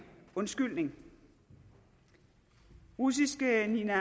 undskyldning russiske nina